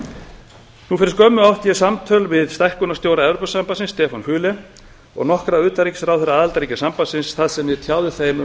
nú fyrir skömmu átti ég samtöl við stækkunarstjóra evrópusambandsins stefán füle og nokkra utanríkisráðherra aðildarríkja sambandsins þar sem ég tjáði þeim um